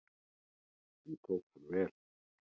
Því tók hann vel.